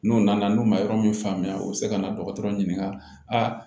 N'u nana n'u ma yɔrɔ min faamuya u bɛ se ka na dɔgɔtɔrɔ ɲininka